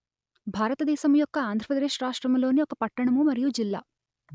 భారత దేశము యొక్క ఆంధ్ర ప్రదేశ్ రాష్ట్రము లోని ఒక పట్టణము మరియు జిల్లా